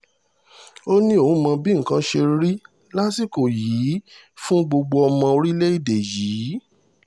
ó ní òun mọ bí nǹkan ṣe rí lásìkò yìí fún gbogbo ọmọ orílẹ̀‐èdè yìí